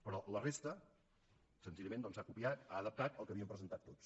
però la resta senzillament doncs ha copiat ha adaptat el que havíem presentat tots